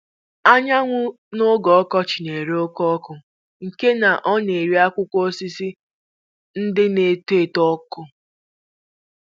Anyanwụ n'oge ọkọchị na-ere oke ọkụ nke na ọ na-ere akwụkwọ osisi ndị na-eto eto ọkụ